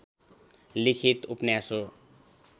लिखित उपन्यास हो